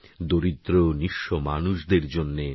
দরিদ্র নিঃস্ব মানুষদের জন্যে